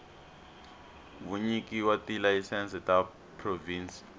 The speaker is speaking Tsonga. vunyiki wa tilayisense ta provhinsi